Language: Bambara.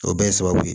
O bɛɛ ye sababu ye